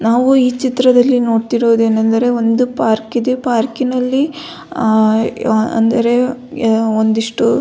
ನಾವು ಈ ಚಿತ್ರದಲ್ಲಿ ನೋಡ್ತಿರೋದು ಏನಂದರೆ ಒಂದು ಪಾರ್ಕಿದು ಪಾರ್ಕಿನಲ್ಲಿ ಅಂದರೆ ಒಂಡಿಷ್ಟು.